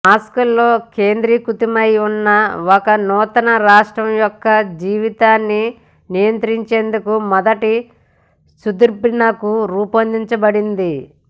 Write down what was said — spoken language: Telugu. మాస్కోలో కేంద్రీకృతమై ఉన్న ఒక నూతన రాష్ట్రం యొక్క జీవితాన్ని నియంత్రించేందుకు మొదటి సూద్బ్నిక్ రూపొందించబడింది